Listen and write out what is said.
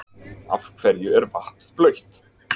Af hverju er vatn blautt?